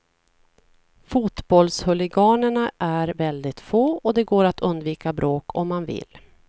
Fotbollshuliganerna är väldigt få, och det går att undvika bråk om man vill.